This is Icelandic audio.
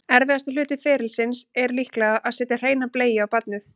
Erfiðasti hluti ferlisins er líklega að setja hreina bleiu á barnið.